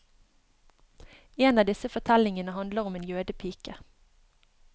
En av disse fortellingene handler om en jødepike.